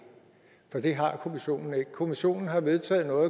for det har kommissionen ikke kommissionen har vedtaget noget